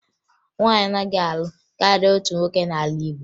Nwaanyị anaghị alụ karịa otu nwoke n'ala Igbo